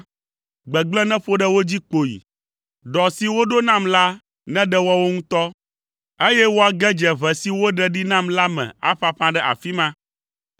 gbegblẽ neƒo ɖe wo dzi kpoyi, ɖɔ si woɖo nam la neɖe woawo ŋutɔ, eye woage dze ʋe si woɖe ɖi nam la me aƒaƒã ɖe afi ma.